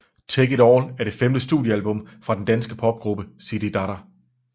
Take it All er det femte studiealbum fra den danske popgruppe Zididada